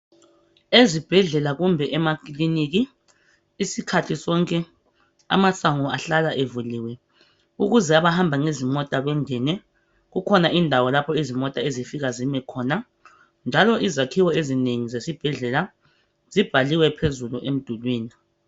Ezibhedlela kumbe emakiliniki isikhathi sonke amasango ahlala evuliwe ukuze abahamba ngezimota bengene. Kukhona indawo lapho izimota ezifika zime khona, njalo izakhiwo ezinengi zesibhedlela zibhaliwe phezulu emdulwini.